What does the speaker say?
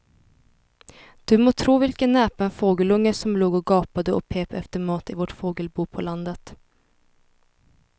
Du må tro vilken näpen fågelunge som låg och gapade och pep efter mat i vårt fågelbo på landet.